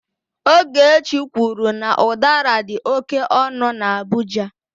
Ogechi kwuru na udara dị oke ọnụ na Abuja.